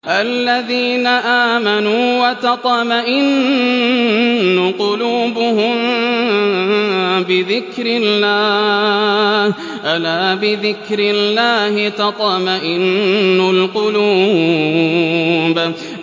الَّذِينَ آمَنُوا وَتَطْمَئِنُّ قُلُوبُهُم بِذِكْرِ اللَّهِ ۗ أَلَا بِذِكْرِ اللَّهِ تَطْمَئِنُّ الْقُلُوبُ